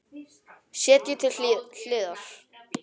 Setjið til hliðar.